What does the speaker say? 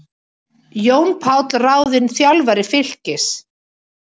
Jón Páll ráðinn þjálfari Fylkis